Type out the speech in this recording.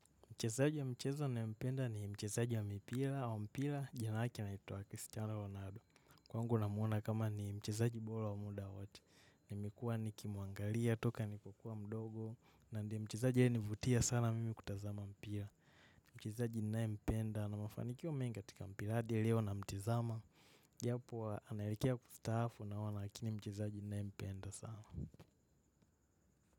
Mchezaji wa mchezo nayempenda ni mchezaji wa mipira, au mpira jina lake laitwa Cristiano Ronaldo. Kwangu namwona kama ni mchezaji bora, wa muda wote. Nimekuwa nikimuangalia, toka nilipokuwa mdogo. Na, ndio mchezaji aninivutia sana mimi kutazama mpira. Mchezaji ninayempenda, ana mafanikio mengi katika mpira hadi leo namtazama. Japo analekea kustaafu naona, lakini mchezaji ninayempenda sana.